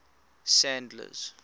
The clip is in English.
sandler's